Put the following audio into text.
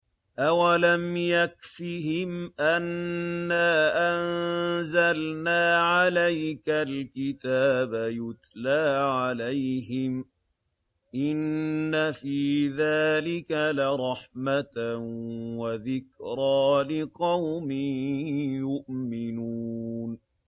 أَوَلَمْ يَكْفِهِمْ أَنَّا أَنزَلْنَا عَلَيْكَ الْكِتَابَ يُتْلَىٰ عَلَيْهِمْ ۚ إِنَّ فِي ذَٰلِكَ لَرَحْمَةً وَذِكْرَىٰ لِقَوْمٍ يُؤْمِنُونَ